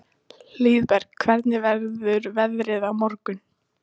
Hlíðberg, hvernig verður veðrið á morgun?